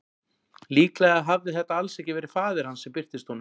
Líklega hafði þetta alls ekki verið faðir hans sem birtist honum.